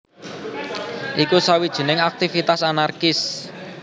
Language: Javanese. Iku sawijining aktivitas anarkis